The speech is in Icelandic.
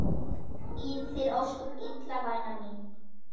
Líður þér ósköp illa væna mín?